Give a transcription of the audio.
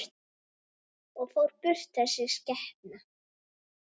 Og fór burt, þessi skepna.